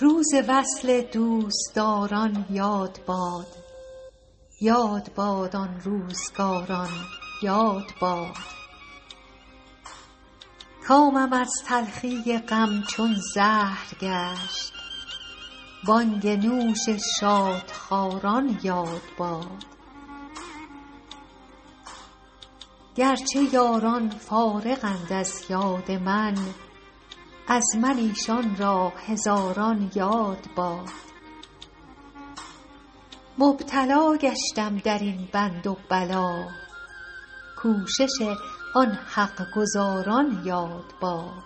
روز وصل دوستداران یاد باد یاد باد آن روزگاران یاد باد کامم از تلخی غم چون زهر گشت بانگ نوش شادخواران یاد باد گر چه یاران فارغند از یاد من از من ایشان را هزاران یاد باد مبتلا گشتم در این بند و بلا کوشش آن حق گزاران یاد باد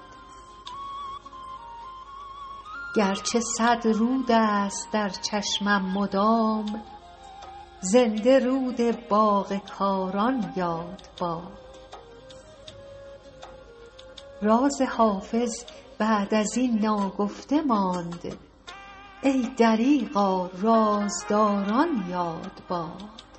گر چه صد رود است در چشمم مدام زنده رود باغ کاران یاد باد راز حافظ بعد از این ناگفته ماند ای دریغا رازداران یاد باد